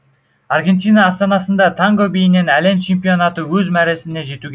аргентина астанасында танго биінен әлем чемпионаты өз мәресіне жетуге